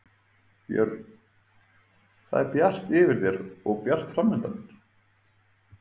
Björn: Það er bjart yfir þér og bjart framundan?